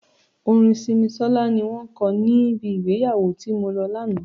Orin Simisola ni wọn ko níbi ìgbéyàwó tí mo lọ lánàá.